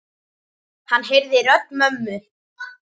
Hann heyrði rödd mömmu.